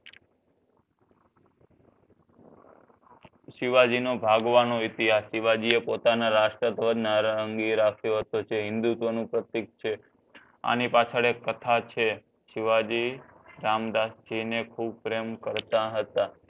સિવાજી નો ભાગવાનો ઇતિહાસ સિવાજી એ પોતાના રાસ્ટ્રધ્વજ ના હિંદુત્વ નું પ્રતિક છે આની પછાડ ઍક કથા છે સિવાજી રામદાશજી ને ખૂબ પ્રેમ કરતાં હતા